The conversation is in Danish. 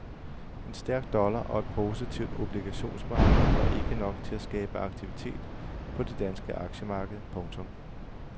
En stærk dollar og et positivt obligationsmarked var ikke nok til skabe aktivitet på det danske aktiemarked. punktum